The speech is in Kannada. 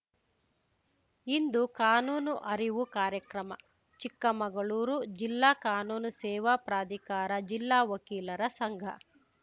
ಇಂದು ಕಾನೂನು ಅರಿವು ಕಾರ್ಯಕ್ರಮ ಚಿಕ್ಕಮಗಳೂರು ಜಿಲ್ಲಾ ಕಾನೂನು ಸೇವಾ ಪ್ರಾಧಿಕಾರ ಜಿಲ್ಲಾ ವಕೀಲರ ಸಂಘ